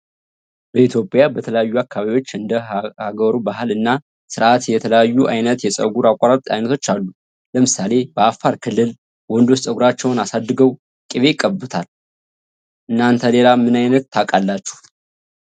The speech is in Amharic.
በኢትዮጵያ በተለያዩ አካባቢዎች እንደ ሃገሩ ባህል እና ስርአት የተለያዩ አይነት የጸጉር አቆራረጥ አይነቶች አሉ። ለምሳሌ በአፋር ክልል ወንዶች ጸጉራቸውን አሳድገው ቂቤ ይቀቡታል። እናንተ ሌላ ምናይነት ታቃላችሁ?